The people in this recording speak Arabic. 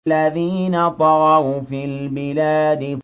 الَّذِينَ طَغَوْا فِي الْبِلَادِ